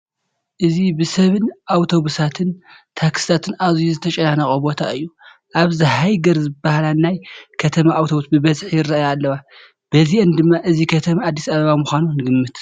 እዚ ብሰብን ኣውቶቡሳትን ታክሲታትን ኣዝዩ ዝተጨናነቐ ቦታ እዩ፡፡ ኣብዚ ሃይገር ዝበሃላ ናይ ከተማ ኣውቶቡስ ብበዝሒ ይርአያ ኣለዋ፡፡ በዚአን ድማ እዚ ከተማ ኣዲስ ኣበባ ምዃኑ ንግምት፡፡